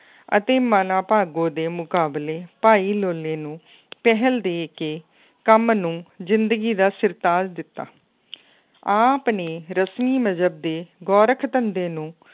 ਅਤੇ ਮਨਾ ਭਾਗੋ ਦੇ ਮੁਕਾਬਲੇ ਭਾਈ ਲੋਲੇ ਨੂੰ ਪਹਿਲ ਦੇ ਕੇ ਕੰਮ ਨੂੰ ਜ਼ਿੰਦਗੀ ਦਾ ਸਿਰਤਾਜ਼ ਦਿੱਤਾ ਆਪ ਨੇ ਰਸਮੀ ਮਜ਼ਹਬ ਦੇ ਗੋਰਖ ਧੰਦੇ ਨੂੰ